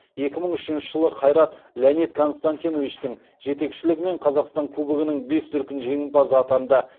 екі мың үшінші жылы қайрат леонид константиновичтің жетекшілігімен қазақстан кубогының бес дүркін жеңімпазы атанды